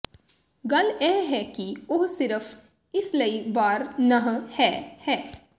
ਗੱਲ ਇਹ ਹੈ ਕਿ ਉਹ ਸਿਰਫ਼ ਇਸ ਲਈ ਵਾਰ ਨਹ ਹੈ ਹੈ